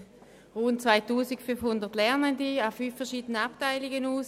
Es bildet rund 2500 Lernende an fünf unterschiedlichen Abteilungen aus.